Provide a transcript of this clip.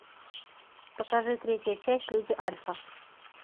покажи третья часть люди альфа